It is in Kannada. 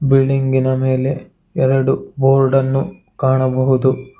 ಬಿಲ್ಡಿಂಗ್ ಇನ ಮೇಲೆ ಎರಡು ಬೋರ್ಡ್ ಅನ್ನು ಕಾಣಬಹುದು.